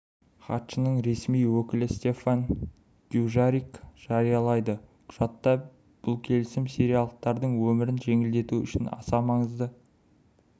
хатшының ресми өкілі стефан дюжарик жариялады құжатта бұл келісім сириялықтардың өмірін жеңілдету үшін аса маңызды